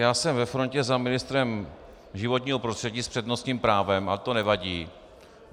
Já jsem ve frontě za ministrem životního prostředí s přednostním právem, ale to nevadí.